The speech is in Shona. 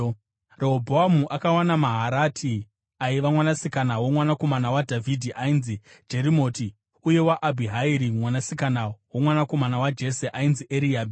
Rehobhoamu akawana Maharati aiva mwanasikana womwanakomana waDhavhidhi ainzi Jerimoti uye waAbhihairi mwanasikana womwanakomana waJese ainzi Eriabhi.